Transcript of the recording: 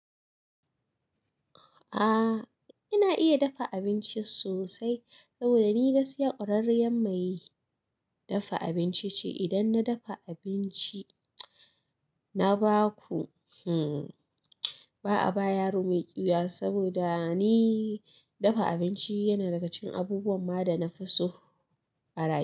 Aa ina iya dafa abinci sosai saboda ni na gaskiya kwaririyar me dafa abinci ce, idan na dafa abinci na baku hmmm ba'a ba yaro maiƙiwuya saboda ni. Dafa abinci yana daga cikin abubuwan ma da nafi so a rayuwa.